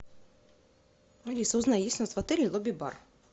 алиса узнай есть ли у нас в отеле лобби бар